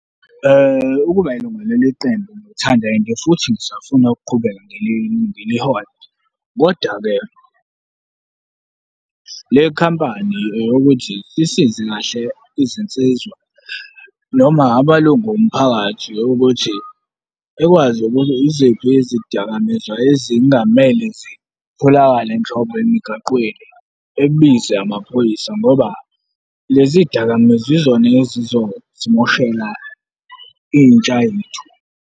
Ukuba yilunga leli qembu ngiyalithanda and-e futhi ngisafuna ukuqhubeka ngilihole. Kodwa ke, le khampani ukuthi sisize kahle izinsizwa noma amalungu omphakathi ukuthi ekwazi ukuthi iziphi izidakamizwa ezingamele zitholakale nhlobo emigaqweni, ebize amaphoyisa ngoba lezi zidakamizwa yizona ezizosimoshela intsha ethu.